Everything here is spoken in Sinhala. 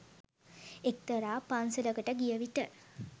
එක්තරා පන්සලකට ගියවිට